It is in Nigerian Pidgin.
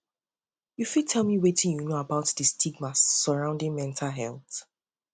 you fit tell me wetin you know about di stigma surrounding mental health